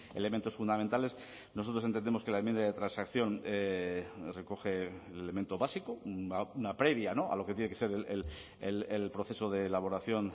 elementos fundamentales nosotros entendemos que la enmienda de transacción recoge el elemento básico una previa a lo que tiene que ser el proceso de elaboración